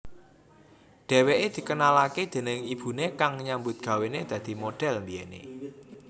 Dheweké dikenalaké déning ibuné kang nyambut gawené dadi model mbiyené